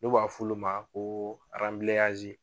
N'o b'a f'olu ma koo aranbilenyazi